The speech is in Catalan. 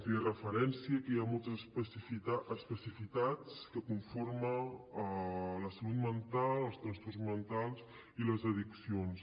feia referència que hi ha moltes especificitats que conformen la salut mental els trastorns mentals i les addiccions